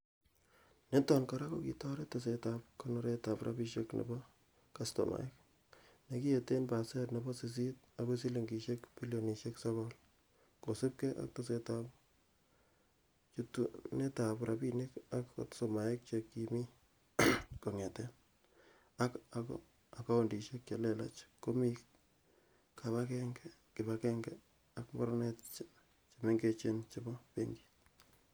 Niton kora kokitoret tesetab konoretab rabinik nebo kastomaek, nekiyeet en pasen nebo sisit akoi silingisiek bilionisiek sogol, kosiibge ak tesetab chutunetab rabinik en kastomaek che kimi kongeten, ak akoundisiek che lelach komi kibag'enge ak mornok chemengechen chebo benkit.